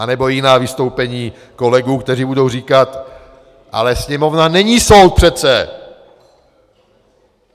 Anebo jiná vystoupení kolegů, kteří budou říkat: Ale Sněmovna není soud přece!